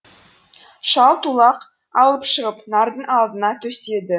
шал тулақ алып шығып нардың алдына төседі